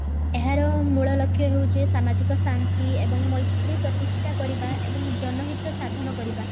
ଏହାର ମୂଳ ଲକ୍ଷ୍ୟ ହେଉଛି ସାମାଜିକ ଶାନ୍ତି ଏବଂ ମୈତ୍ରୀ ପ୍ରତିଷ୍ଠା କରିବା ଏବଂ ଜନହିତ ସାଧନ କରିବା